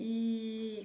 Eee.